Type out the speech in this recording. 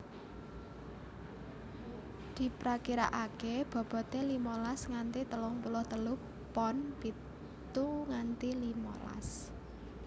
Diprakiraakè bobote limolas nganti telung puluh telu pon pitu nganti limolas